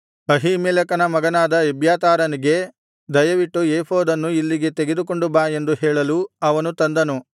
ಅಹೀಮೆಲೆಕನ ಮಗನಾದ ಎಬ್ಯಾತಾರನಿಗೆ ದಯವಿಟ್ಟು ಏಫೋದನ್ನು ಇಲ್ಲಿಗೆ ತೆಗೆದುಕೊಂಡು ಬಾ ಎಂದು ಹೇಳಲು ಅವನು ತಂದನು